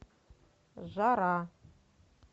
жара